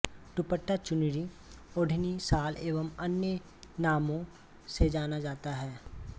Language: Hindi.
दुपट्टा चुन्नी ओढ़नी शाल एवं अन्य नामों से जाना जाता है